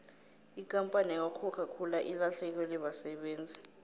ikampani yakwacoca cola ilahlekelwe basebenzi